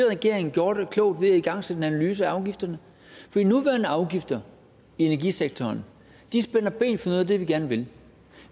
regering gjorde det klogt ved at igangsætte en analyse af afgifterne for de nuværende afgifter i energisektoren spænder ben for noget af det vi gerne vil